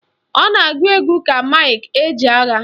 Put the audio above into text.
Ọ na-agụ egwu ka Mike Ejeagha